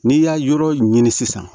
N'i y'a yɔrɔ ɲini sisan